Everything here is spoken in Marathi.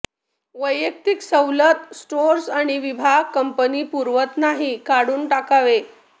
वैयक्तिक सवलत स्टोअर्स किंवा विभाग कंपनी पुरवत नाही काढून टाकावे